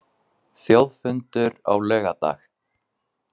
Þjóðfundur á laugardag